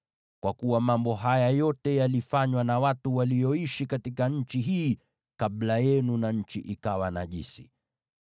kwa kuwa mambo haya yote yalifanywa na watu walioishi katika nchi hii kabla yenu, na nchi ikawa najisi.